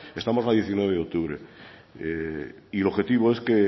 estamos a diecinueve de octubre y el objetivo es que